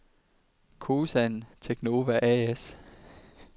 Kosan Teknova A/S